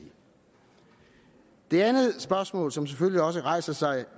det andet spørgsmål som selvfølgelig også rejser sig